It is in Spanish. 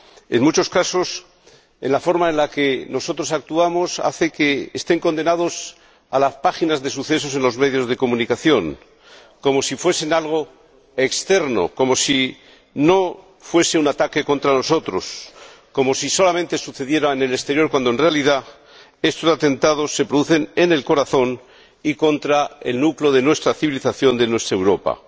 En muchos casos, la forma en la que nosotros actuamos hace que estén condenados a las páginas de sucesos en los medios de comunicación, como si fuesen algo externo, como si no fuesen un ataque contra nosotros, como si solamente sucedieran en el exterior, cuando, en realidad, estos atentados se producen en el corazón y contra el núcleo de nuestra civilización, de nuestra Europa.